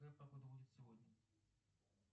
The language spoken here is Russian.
какая погода будет сегодня